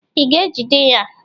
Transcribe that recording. Ị ga-ejide ya?